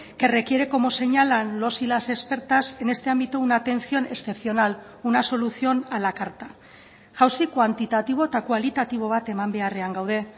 que requiere como señalan los y las expertas en este ámbito una atención excepcional una solución a la carta jauzi kuantitatibo eta kualitatibo bat eman beharrean gaude